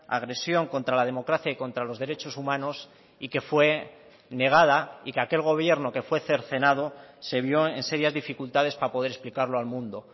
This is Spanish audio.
agresión contra la democracia y contra los derechos humanos y que fue negada y que aquel gobierno que fue cercenado se vio en serias dificultades para poder explicarlo al mundo